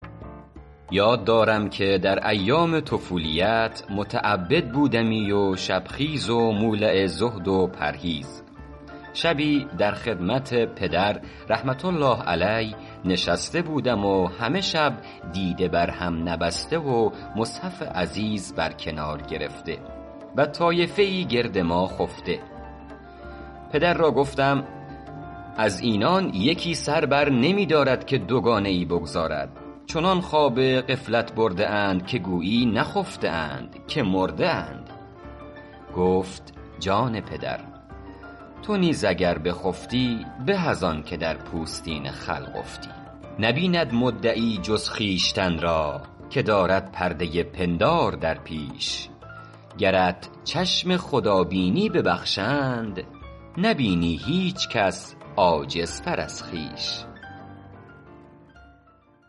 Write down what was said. یاد دارم که در ایام طفولیت متعبد بودمی و شب خیز و مولع زهد و پرهیز شبی در خدمت پدر رحمة الله علیه نشسته بودم و همه شب دیده بر هم نبسته و مصحف عزیز بر کنار گرفته و طایفه ای گرد ما خفته پدر را گفتم از اینان یکی سر بر نمی دارد که دوگانه ای بگزارد چنان خواب غفلت برده اند که گویی نخفته اند که مرده اند گفت جان پدر تو نیز اگر بخفتی به از آن که در پوستین خلق افتی نبیند مدعی جز خویشتن را که دارد پرده پندار در پیش گرت چشم خدا بینی ببخشند نبینی هیچ کس عاجزتر از خویش